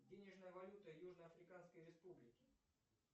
денежная валюта южно африканской республики